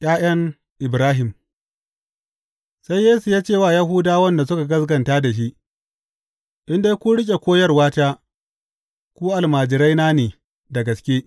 ’Ya’yan Ibrahim Sai Yesu ya ce wa Yahudawan da suka gaskata da shi, In dai kun riƙe koyarwata, ku almajiraina ne da gaske.